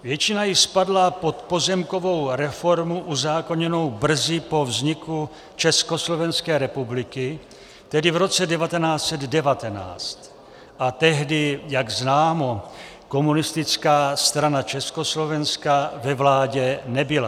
Většina jich spadla pod pozemkovou reformu uzákoněnou brzy po vzniku Československé republiky, tedy v roce 1919, a tehdy, jak známo, Komunistická strana Československa ve vládě nebyla.